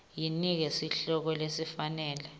yinike sihloko lesifanele